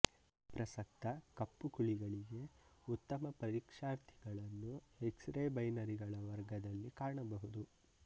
ಪ್ರಸಕ್ತ ಕಪ್ಪು ಕುಳಿಗಳಿಗೆ ಉತ್ತಮ ಪರೀಕ್ಷಾರ್ಥಿಗಳನ್ನು ಎಕ್ಸರೇ ಬೈನರಿಗಳ ವರ್ಗದಲ್ಲಿ ಕಾಣಬಹುದು